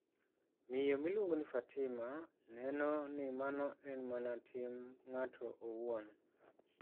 Miyo miluongo ni Fatima neno ni mano en mana tim ng'ato owuon.